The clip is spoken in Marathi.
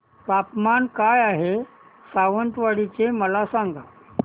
तापमान काय आहे सावंतवाडी चे मला सांगा